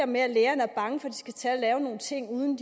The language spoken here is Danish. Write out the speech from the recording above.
med at lægerne er bange for at de skal lave nogle ting uden